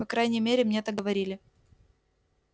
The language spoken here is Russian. по крайней мере мне так говорили